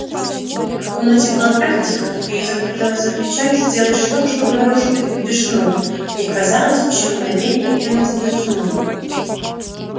в комнате было так тихо что ей захотелось закричать сделать что-то чтобы нарушить эту тишину ей казалось ещё мгновение и она сойдёт с ума